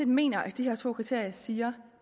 mener at de to kriterier siger